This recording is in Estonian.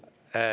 Ei.